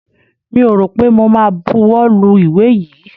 Mi ò rọ̀ pé mo ma buwọ́ lu ìwé yìí.